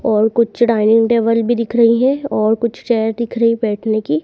और कुछ dining table भी दिख रही है और कुछ चेयर दिख रही बैठने की।